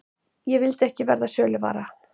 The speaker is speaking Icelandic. Ég vildi ekki verða söluvara.